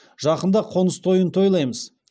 жақында қоныс тойын тойлаймыз